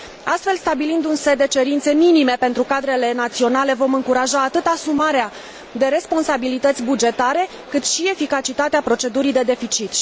Astfel, stabilind un set de cerințe minime pentru cadrele naționale, vom încuraja atât asumarea de responsabilități bugetare, cât și eficacitatea procedurii de deficit.